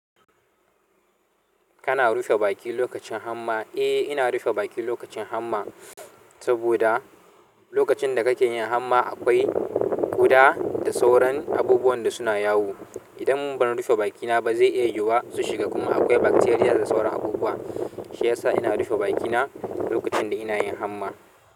Kana rufe baki lokacin hamma? Eh, ina rufe baki lokacin hamma saboda lokacin da kake yin hamma akwai ƙuda da sauran abubuwan da suna yawo. Idan ban rufe bakina ba zai iya yiwuwa su shiga kuma akwai bakteriya da sauran abubuwa. Shi ya sa ina rufe bakina lokacin da ina yin hamma.